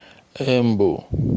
эмбу